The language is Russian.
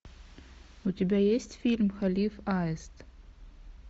у тебя есть фильм халиф аист